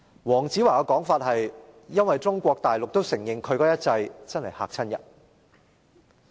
黃子華的說法是因為"中國大陸也承認其一制真的很嚇人"。